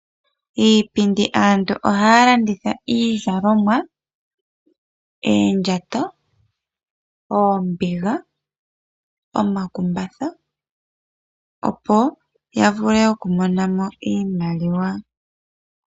Iipindi, aantu ohaya landitha iizalomwa, oondjato, oombiga, omakumbatha opo ya vule oku monamo iimaliwa.